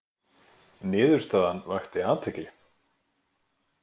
Niðurstaðan vakti athygli